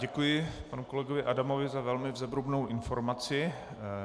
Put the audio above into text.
Děkuji panu kolegovi Adamovi za velmi zevrubnou informaci.